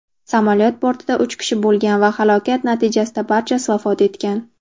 Samolyot bortida uch kishi bo‘lgan va halokat natijasida barchasi vafot etgan.